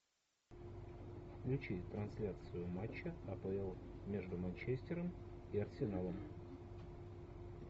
включи трансляцию матча апл между манчестером и арсеналом